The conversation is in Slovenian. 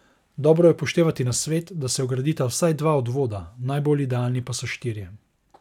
Dobro je upoštevati nasvet, da se vgradita vsaj dva odvoda, najbolj idealni pa so štirje.